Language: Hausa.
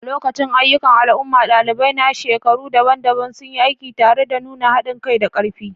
A lokacin ayyukan al'umma, ɗalibai na shekaru daban-daban sun yi aiki tare don nuna haɗin kai da ƙarfi.